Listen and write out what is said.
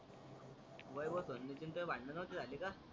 वैभव संदीपचे आणी तौए भांडण नव्हते झाले का.